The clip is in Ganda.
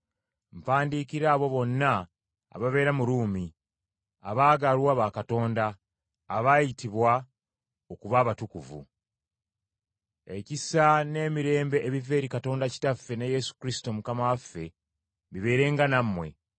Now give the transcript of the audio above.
Mpandikira abo bonna ababeera mu Ruumi, abaagalwa ba Katonda, abaayitibwa okuba abatukuvu. Ekisa n’emirembe ebiva eri Katonda Kitaffe ne Yesu Kristo Mukama waffe, bibeerenga nammwe.